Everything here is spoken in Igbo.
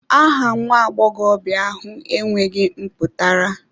Aha nwa agbọghọ ahụ enweghị mpụtara